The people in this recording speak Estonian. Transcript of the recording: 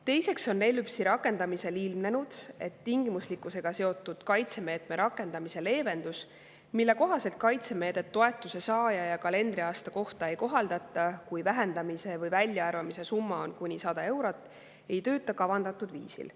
Teiseks on ELÜPS‑i rakendamisel ilmnenud, et tingimuslikkusega seotud kaitsemeetme rakendamise leevendus, mille kohaselt kaitsemeedet toetuse saaja ja kalendriaasta kohta ei kohaldata, kui vähendamise või väljaarvamise summa on kuni 100 eurot, ei tööta kavandatud viisil.